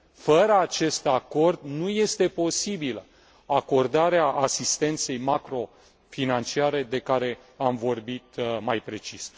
Fără acest acord nu este posibilă acordarea asistenței macrofinanciare despre care am vorbit mai precis.